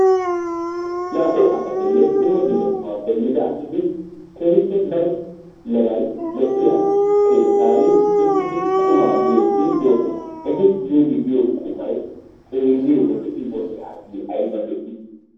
Naa"u asatinne dumma dumma sohuwappe yiida asati keehippe daro meray de'iyo keettaan uttidi qummaa miidi doossona eti miidi de'iyo qummay xeeliyode aybba lo'i.